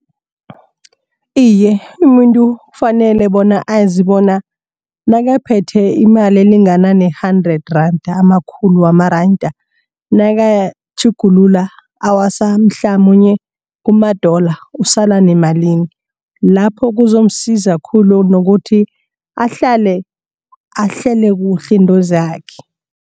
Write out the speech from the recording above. Iye, umuntu kufanele bona azi bona nakaphethe imali elingana ne-hundred rand amakhulu wamaranda nakawatjhugulula awasa mhlamunye kuma-dollar usala nemalini. Lapho kuzomsiza khulu nokuthi ahlale ahlele kuhle intozakhe.